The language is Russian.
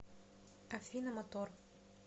афина мотор